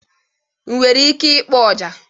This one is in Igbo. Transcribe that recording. Ị nwere ike ịkpọ ọjà?